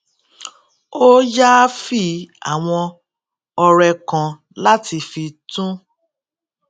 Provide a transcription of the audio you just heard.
ó yááfì àwọn ọrẹ kan láti fi tún